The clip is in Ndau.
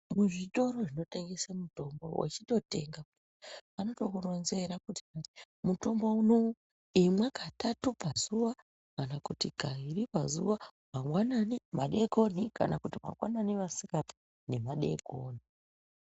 Kuzvitoro zvinotengese mitombo wechitotenga vanotokuronzera kuti mutombo unowu imwa katatu pazuwa kana kuti kairi pazuwa mangwanani, madeikoni kana kuti mangwanani, masikati nemadeikoni.